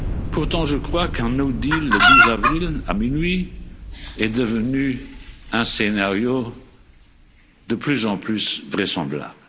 Pour autant, je crois qu'un no deal le 12 avril à minuit est devenu un scénario de plus en plus vraisemblable.